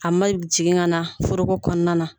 A man jigin ka na foroko kɔnɔna na.